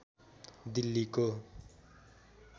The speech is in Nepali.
दिल्लीको